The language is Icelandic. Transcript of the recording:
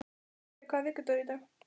Polly, hvaða vikudagur er í dag?